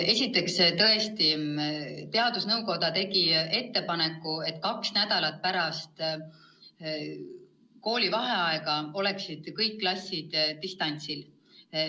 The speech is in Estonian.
Esiteks, tõesti teadusnõukoda tegi ettepaneku, et kaks nädalat pärast koolivaheaega oleksid kõik klassid distantsõppel.